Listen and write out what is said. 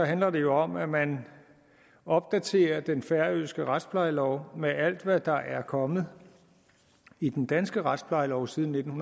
handler det jo om at man opdaterer den færøske retsplejelov med alt hvad der er kommet i den danske retsplejelov siden nitten